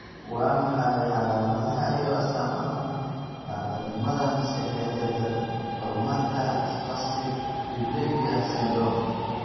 Waa maxay calaamadaha iyo astaamaha naafanimada maskaxeed ee daran horumarka spastic diplegia syndrome?